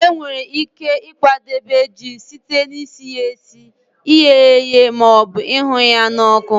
E nwere ike ịkwadebe ji site na isi ya esi, ighe ya eghe ma ọbụ ịhụ ya n'ọkụ.